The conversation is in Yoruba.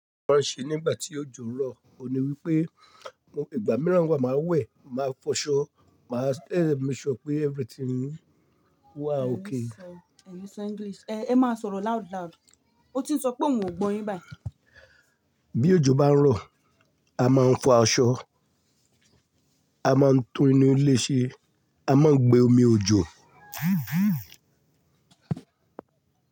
Mo máa ń ṣe nígbà tí òjò ń rọ̀, òní wípé mo gba mìíràn wá, màá wẹ̀, màá fọṣọ, màá make dẹ̀ sure pé everything wa okay. Ẹ ní sọ English, ẹ má sọ̀rọ̀ loud loud, ó ti ń sọ pé òun ò gbọ́ yín báyìí. Bí òjò bá ń rọ̀, a máa ń fọ aṣọ, a máa ń tún inú ilé ṣe, a máa ń gbé omi òjò.